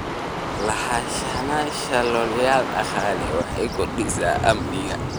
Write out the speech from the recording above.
Lahaanshaha yoolal dhaqaale waxay kordhisaa amniga.